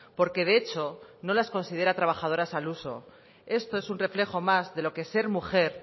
porque de hecho no las considera trabajadoras al uso esto es un reflejo más de lo que ser mujer